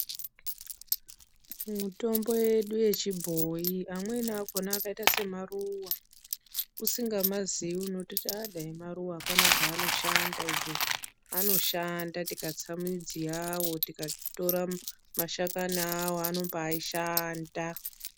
Mutombo yedu yechibhoyi, amweni akhona akaita semaruwa. Usinga mazii unototi dai maruwa apana chaano shanda izvi. Anoshanda, tikatsa midzi yawo, tikatora mashakani awo, anombaa shanda.